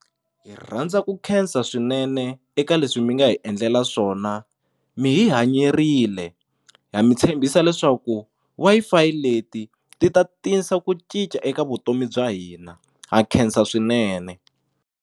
Hi rhandza ku khensa swinene eka leswi mi nga hi endlela swona mi hi hanyerile ha mi tshembisa leswaku Wi-Fi leti ti ta tisa ku cinca eka vutomi bya hina ha khensa swinene.